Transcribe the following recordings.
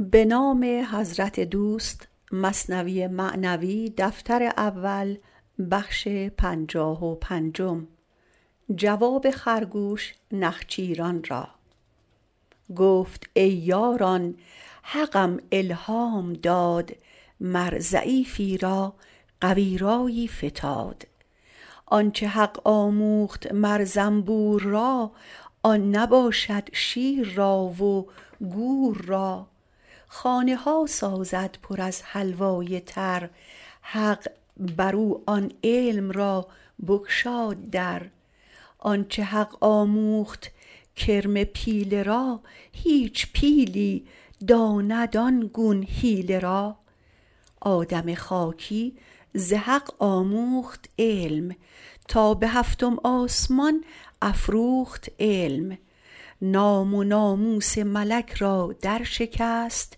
گفت ای یاران حقم الهام داد مر ضعیفی را قوی رایی فتاد آنچ حق آموخت مر زنبور را آن نباشد شیر را و گور را خانه ها سازد پر از حلوای تر حق برو آن علم را بگشاد در آنچ حق آموخت کرم پیله را هیچ پیلی داند آن گون حیله را آدم خاکی ز حق آموخت علم تا به هفتم آسمان افروخت علم نام و ناموس ملک را در شکست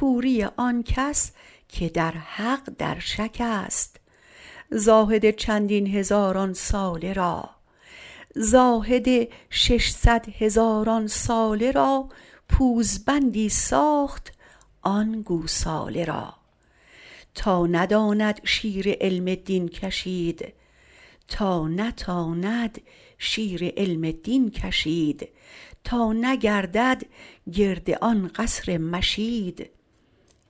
کوری آنکس که در حق در شکست زاهد ششصد هزاران ساله را پوزبندی ساخت آن گوساله را تا نتاند شیر علم دین کشید تا نگردد گرد آن قصر مشید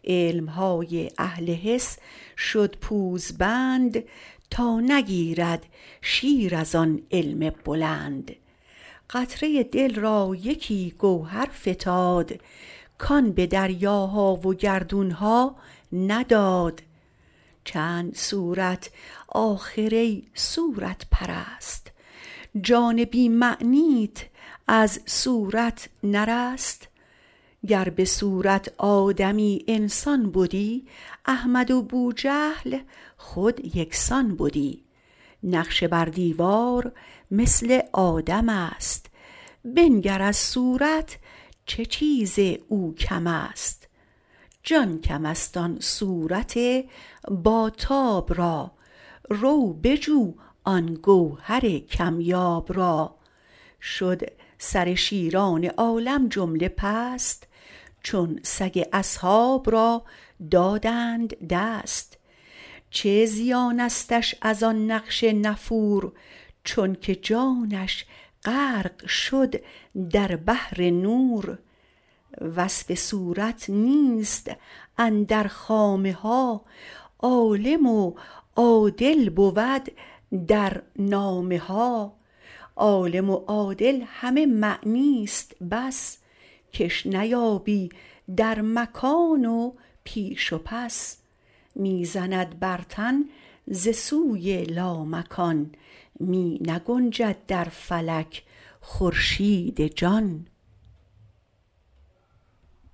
علمهای اهل حس شد پوزبند تا نگیرد شیر از آن علم بلند قطره دل را یکی گوهر فتاد کان به دریاها و گردونها نداد چند صورت آخر ای صورت پرست جان بی معنیت از صورت نرست گر بصورت آدمی انسان بدی احمد و بوجهل خود یکسان بدی نقش بر دیوار مثل آدمست بنگر از صورت چه چیز او کمست جان کمست آن صورت با تاب را رو بجو آن گوهر کم یاب را شد سر شیران عالم جمله پست چون سگ اصحاب را دادند دست چه زیانستش از آن نقش نفور چونک جانش غرق شد در بحر نور وصف و صورت نیست اندر خامه ها عالم و عادل بود در نامه ها عالم و عادل همه معنیست بس کش نیابی در مکان و پیش و پس می زند بر تن ز سوی لامکان می نگنجد در فلک خورشید جان